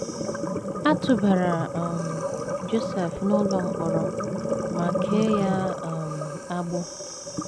A tụbara um Josef n’ụlọ mkpọrọ ma kee ya um agbụ.